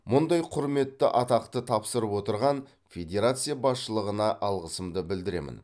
мұндай құрметті атақты тапсырып отырған федерация басшылығына алғысымды білдіремін